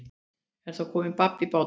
En þá kom babb í bát.